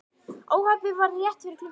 Óhappið varð rétt fyrir klukkan sjö